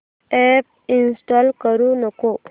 app install करू नको